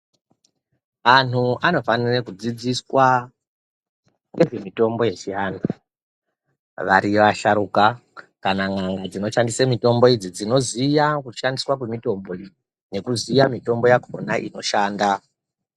Anhu anofanira kudzidziswa nezvemitombo yechiantu variyo vasharukwa kana n'anga dzinoshandisa mitombo idzi dzinoziya kushandiswa kwemitombo iyi nekuiziya mitombo yakona inoshanda.